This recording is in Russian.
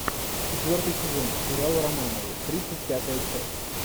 четвертый сезон сериала романовы тридцать пятая часть